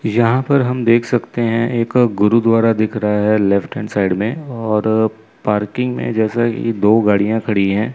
यहां पर हम देख सकते हैं एक गुरुद्वारा दिख रहा है लेफ्ट हैंड साइड में और पार्किंग में जैसा कि दो गाड़ियां खड़ी है।